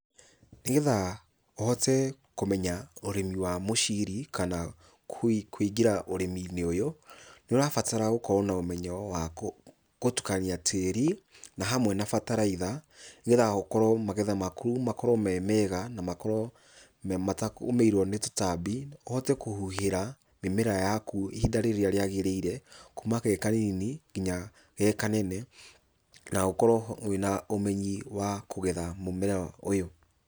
Nĩgetha ũhote kũmenya ũrĩmi wa mũciri, kana kwĩngĩra ũrĩminĩ ũyũ, nĩũrabatara gũkorwo na ũmenyo wa kũtukania tĩri, na hamwe na bataraitha, nĩgetha ũkorwo magetha maku makorwo me mega, na makorwo me matagũmĩirwo nĩ tũtambi, ũhotekũhuhĩra mĩmera yaku ihinda rĩrĩa rĩagĩrĩire, kuma ge kanini, nginya ge kanene, na ũkorwo wĩna ũmenyi wa kũgetha mũmera ũyũ.